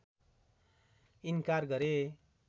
इन्कार गरे